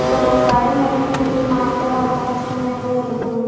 ಇಲ್ಲೊಬ್ಬವ್ ಗಾಡಿ ಮೇಲೆ ಕುಂತು ಮಾತಾಡಹತ್ತನ್ ಫೋನ್ ನಗ್ ಇಲ್ಲೊಬ್ಬನು --